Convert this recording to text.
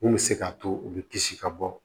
Mun bɛ se k'a to u bɛ kisi ka bɔ